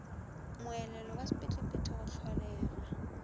moelelo wa sephethephethe go hlolega